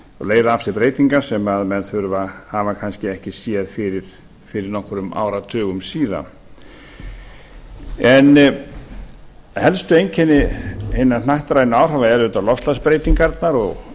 leiða af sér breytingar sem menn hafa kannski ekki séð fyrir fyrir nokkrum áratugum síðan helstu einkenni hinna hnattrænu áhrifa eru auðvitað loftslagsbreytingarnar og